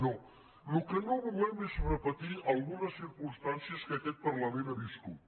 no el que no volem és repetir algunes circumstàncies que aquest parlament ha viscut